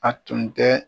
A tun tɛ